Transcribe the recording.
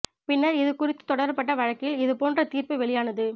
பின்னர் இது குறித்து தொடரப்பட்ட வழக்கில் இது போன்ற தீர்ப்பு வெளியானது